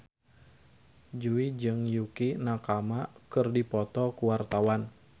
Jui jeung Yukie Nakama keur dipoto ku wartawan